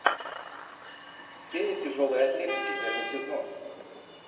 фея тяжелой атлетики первый сезон